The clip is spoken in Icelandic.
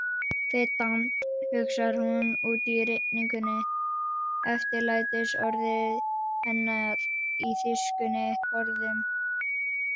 Verdammt, hugsar hún úti í rigningunni, eftirlætisorðið hennar í þýskunni forðum.